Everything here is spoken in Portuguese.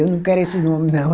Eu não quero esses nome nela